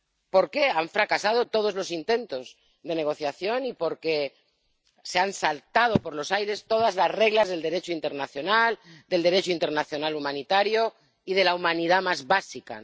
Porque han fracasado todos los intentos de negociación y porque han saltado por los aires todas las reglas del Derecho internacional, del Derecho internacional humanitario y de la humanidad más básica.